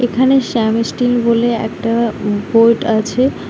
এখানে শ্যাম ইস্টিল বলে একটা বোর্ড আছে।